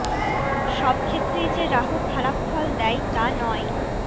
সব ক্ষেত্রেই যে রাহু খারাপ ফল দেয় তা নয়